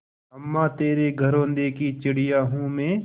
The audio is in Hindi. अम्मा तेरे घरौंदे की चिड़िया हूँ मैं